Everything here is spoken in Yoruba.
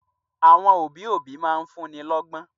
Àwọn òbí òbí máa ń fún'ni lọ́gbọ́n